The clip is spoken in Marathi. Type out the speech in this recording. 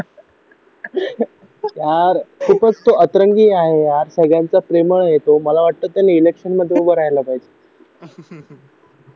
यार खूपच अतरंगी आहे यार सगळ्यांचा प्रेमळ ये तो मला वाटतं तो इलेक्शन मध्ये उभा राहिला पाहिजे